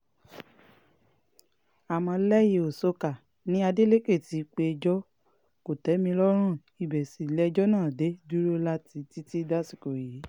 àmọ́ lẹ́yẹ-ò-ṣọ́ká ni adeleke ti péjọ kò-tẹ̀-mí-lọ́rùn ibẹ̀ sì lejò náà dé dúró títí dasìkò yìí